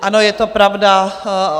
Ano, je to pravda.